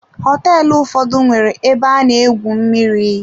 Hoteelu ụfọdụ nwere ebe ana-egwu mmiri.